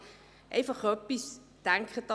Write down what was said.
Aber, bedenken Sie bitte Folgendes: